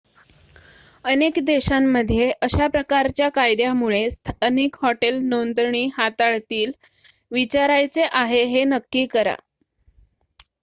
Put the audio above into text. अनेक देशांमध्ये अशा प्रकारच्या कायद्यामुळे स्थानिक हॉटेल नोंदणी हाताळतील विचारायचे आहे हे नक्की करा